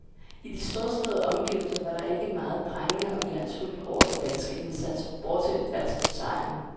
I de storslåede omgivelser var der ikke meget prangende og glansfuldt over den danske indsats, bortset altså fra sejren.